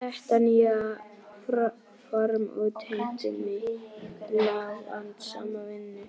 Þetta nýja form útheimti mikla og vandasama vinnu.